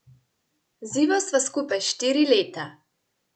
Z Ivo sva skupaj štiri leta.